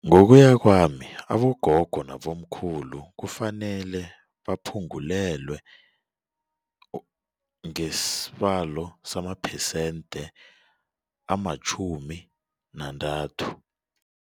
Ngokuya kwami abogogo nabomkhulu kufanele baphungulelwe ngesibalo samaphesente amatjhumi nantathu.